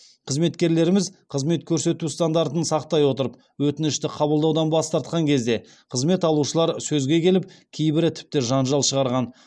қызметкерлеріміз қызмет көрсету стандартын сақтай отырып өтінішті қабылдаудан бас тартқан кезде қызмет алушылар сөзге келіп кейбірі тіпті жанжал шығарған